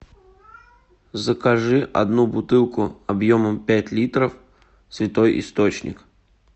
закажи одну бутылку объемом пять литров святой источник